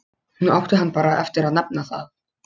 Nú átti hann bara eftir að nefna það.